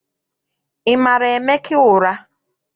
Ị mara Emeka ụra?